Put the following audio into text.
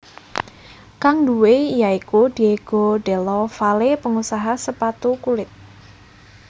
Kang duwé ya iku Diego Della Valle pengusaha sepatu kulit